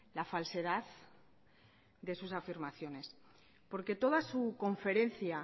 la falsedad de sus afirmaciones porque toda su conferencia